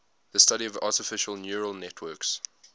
the study of artificial neural networks